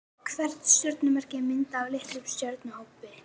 Hvert stjörnumerki er myndað af litlum stjörnuhópi.